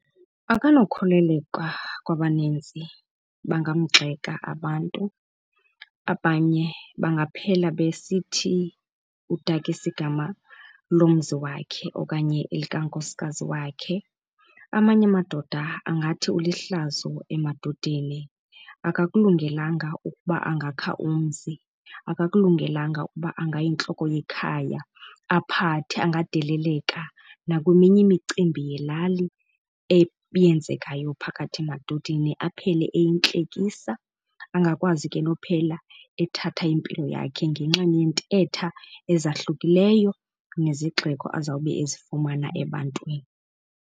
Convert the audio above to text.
Akanokholeleka kwabaninzi, bangamgxeka abantu, abanye bangaphela besithi udakisa igama lomzi wakhe okanye elikankosikazi wakhe. Amanye amadoda angathi ulihlazo emadodeni akakulungelanga ukuba angakha umzi, akakulungelanga ukuba angayintloko yekhaya aphathe. Angadeleleka nakweminye imicimbi yelali eyenzekayo phakathi emadodeni, aphele eyintlekisa. Angakwazi ke nophela ethatha impilo yakhe ngenxa yeentetha ezahlukileyo nezigxeko azawube ezifumana ebantwini.